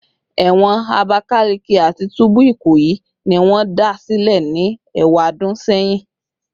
Ewon Abakaleke ati tubu Ikoyi ni won da sile ni ewadun seyin